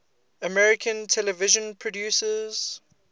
american television producers